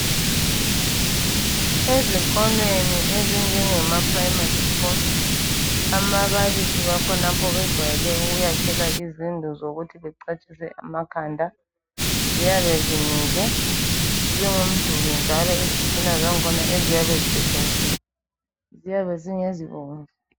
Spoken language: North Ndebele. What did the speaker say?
Ezikolweni ezinjengemaprimary school, amabalisi bakhonapho, bejwayele ukuyakhelwa izindlu zokuthi becatshise amakhanda. Ziyabe zimile, zingumduli, njalo izitina zakhona, eziyabe zisetshenzisiwe, ziyabe zingezibomvu,